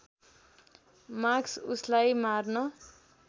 Marcus उसलाई मार्न